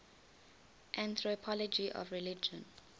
anthropology of religion